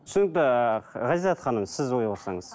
түсінікті ғазизат ханым сіз ой қоссаңыз